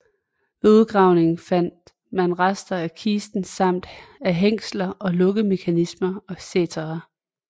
Ved udgravningen fandt man rester af kisten samt af hængsler og lukkemekanismer etc